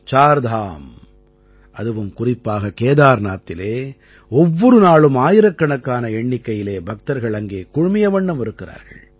சார்தாம் அதுவும் குறிப்பாக கேதார்நாத்திலே ஒவ்வொரு நாளும் ஆயிரக்கணக்கான எண்ணிக்கையில் பக்தர்கள் அங்கே குழுமிய வண்ணம் இருக்கிறார்கள்